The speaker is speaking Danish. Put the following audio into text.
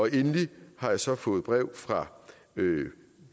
endelig har jeg så fået brev fra